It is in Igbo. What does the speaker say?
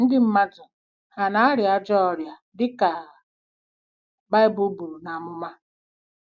Ndị mmadụ hà na-arịa ajọ ọrịa dị ka Baịbụl buru n’amụma?